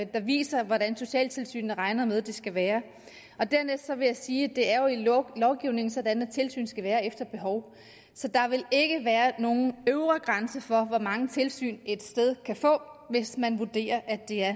viser hvordan socialtilsynet regner med det skal være og dernæst vil jeg sige at det jo i lovgivningen er sådan at tilsyn skal være efter behov så der vil ikke være nogen øvre grænse for hvor mange tilsyn et sted kan få hvis man vurderer at det er